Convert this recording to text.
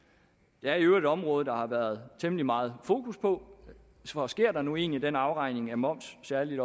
er i øvrigt et område der har været temmelig meget fokus på for sker der nu egentlig den afregning af moms særlig